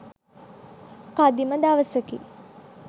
කදිම දවසකි.